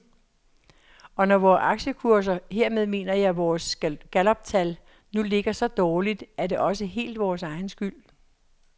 Og når vores aktiekurser, hermed mener jeg vores galluptal, nu ligger så dårligt, er det også helt vores egen skyld.